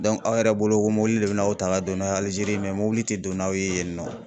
aw yɛrɛ bolo ko mɔbili le bɛna aw ta ka don n'a ye Alizeri mɔbili tɛ don n'aw ye yen nɔ.